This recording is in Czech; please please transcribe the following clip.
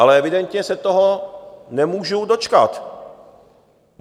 Ale evidentně se toho nemůžu dočkat.